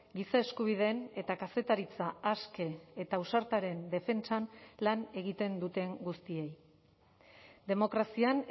giza eskubideen eta kazetaritza aske eta ausartaren defentsan lan egiten duten guztiei demokrazian